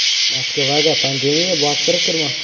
Moskvaga pandemiya bostirib kirmoqda.